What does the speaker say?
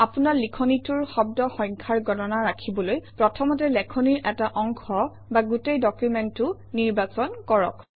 আপোনাৰ লিখনিটোৰ শব্দ সংখ্যাৰ গণনা ৰাখিবলৈ প্ৰথমতে লেখনিৰ এটা অংশ বা গোটেই ডকুমেণ্টটো নিৰ্বাচন কৰক